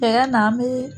Cɛya na an bɛ